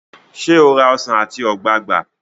ṣe o rà Ọsán ati ogbagba?